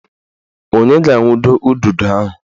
Onye ga-awundo ududo ahụ?